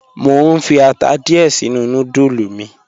Mo n fi ata diẹ̀ sinu nùdúlù mi.